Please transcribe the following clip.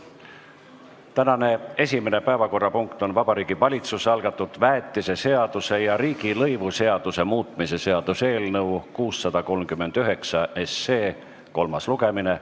Tänane esimene päevakorrapunkt on Vabariigi Valitsuse algatatud väetiseseaduse ja riigilõivuseaduse muutmise seaduse eelnõu 639 kolmas lugemine.